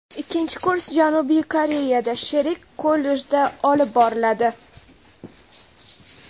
Ikkinchi kurs Janubiy Koreyada sherik kollejda olib boriladi.